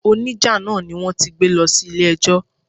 O ní jà náà ni wón ti gbé lọ sí ilé ẹjọ́.